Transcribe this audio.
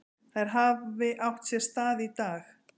Þær hafi átt sér stað í dag.